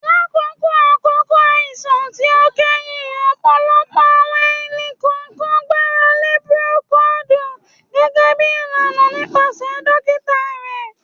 Lakoko akoko aisan ti o kẹhin, ọpọlọpọ awọn ẹni-kọọkan gbarale Procold gẹgẹbi ilana nipasẹ dokita rẹ